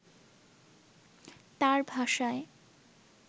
তার ভাষায়